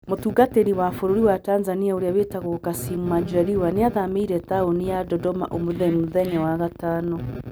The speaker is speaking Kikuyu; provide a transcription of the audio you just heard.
Mũtungatĩri wa Bũrũri wa Tanzania ũrĩa wĩtagwo Kassim Majaliwa nĩ aathamĩire taũni ya Dodoma ũmũthĩ mũthenya wa gatano.